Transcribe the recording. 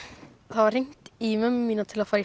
það var hringt í mömmu mína til að fara í